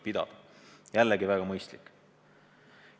Jällegi väga mõistlik!